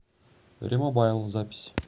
ремобайл запись